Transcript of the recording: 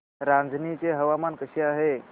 रांझणी चे हवामान कसे आहे